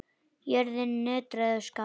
Jörðin nötraði og skalf.